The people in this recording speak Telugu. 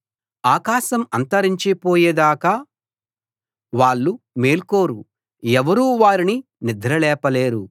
ఆకాశం అంతరించి పోయేదాకా వాళ్ళు మేల్కోరు ఎవరూ వారిని నిద్ర లేపలేరు